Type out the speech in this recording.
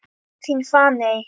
Þín Fanney.